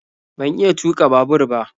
Ban iya tuka babur ba